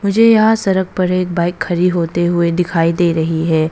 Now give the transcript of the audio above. मुझे यहां सरक पर एक बाइक खड़ी होते हुए दिखाई दे रही है।